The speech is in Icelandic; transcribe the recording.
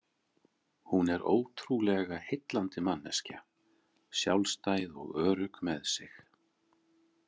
Hún er ótrúlega heillandi manneskja, sjálfstæð og örugg með sig.